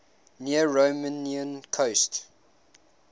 near romanian coast